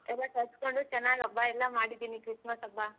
ಎಲ್ಲಾ ತರ್ಸ್ಕೊಂಡು ಚೆನ್ನಾಗ್ ಹಬ್ಬ ಎಲ್ಲ ಮಾಡಿದ್ದೀನಿ Christmas ಹಬ್ಬ.